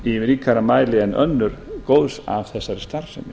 í ríkari mæli en önnur góðs af þessari starfsemi